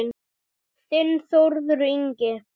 Þinn Þórður Ingi.